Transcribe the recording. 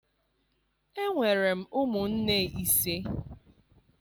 Enwere m ụmụnne ise.